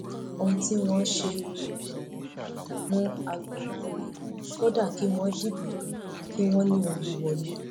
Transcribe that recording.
ohun tí wọn ṣe gbọdọ mú mú agboolá rèé kódà kí wọn dìbò tán kí wọn ní òun ló wọlé